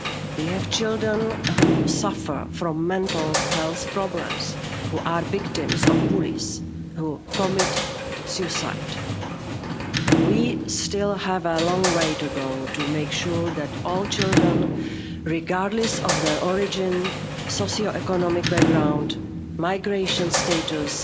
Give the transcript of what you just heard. We have children who suffer from mental health problems, who are victims of bullies and who commit suicide. We still have a long way to go to make sure that all children, regardless of their origin, socio economic background and migration status,